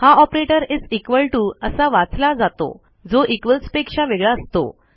हा operator is equal to असा वाचला जातो जो equalsपेक्षा वेगळा असतो